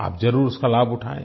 आप ज़रूर उसका लाभ उठाएँ